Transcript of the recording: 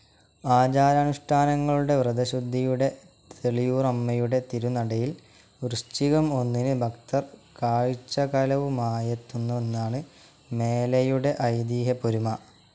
ആചാര അനുഷ്ഠാനങ്ങളുടെ വ്രതശുദ്ധിയുടെ തെള്ളിയൂറമ്മയുടെ തിരുനടയിൽ വൃശ്ചികം ഒന്നിന് ഭക്തർ കാഴ്ചകലവുമായെത്തുന്നുവെന്നാണ് മേലയുടെ ഐതിഹ്യപെരുമ.